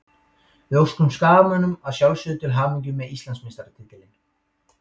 Við óskum Skagamönnum að sjálfsögðu til hamingju með Íslandsmeistaratitilinn.